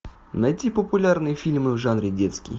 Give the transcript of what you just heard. найти популярные фильмы в жанре детский